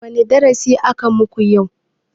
Wane darasi aka muku yau?